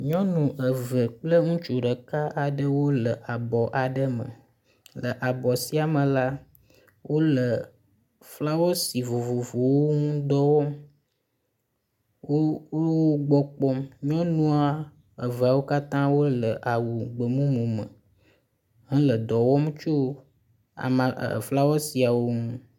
Nyɔnu eve kple ŋutsu ɖeka aɖewo le abɔ aɖe me. Le abɔ sia me la wo le flawesi vovovowo ŋudɔ wɔm. wo wo wogbɔ kpɔm. nyɔnua eveawo katã wo le awu gbemumu me hele edɔ wɔm tso ama eflawesiawo ŋu.